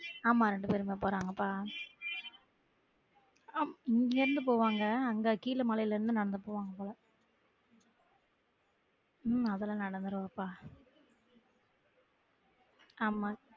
ஆமா ரெண்டு பேரும்தான் போராங்கப்பா ஆஹ் இங்க இருந்து போவாங்க அங்க கீழ மலைல இருந்து நடந்து போவாங்க போல உம் அதெல்லாம் நடந்துறுவாப்பா ஆமா